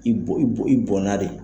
I bo i bo i bɔnna de.